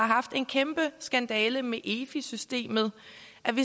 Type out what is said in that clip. haft en kæmpe skandale med efi systemet